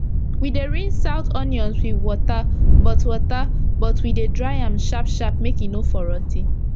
we dey rinse out onions wit water but water but we dey dry am sharp sharp make e for no rotty